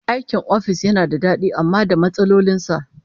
Aikin ofis yana da dadi amma da matsalolin sa